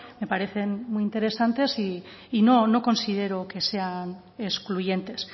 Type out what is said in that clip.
me parecen muy interesantes y no considero que sea excluyentes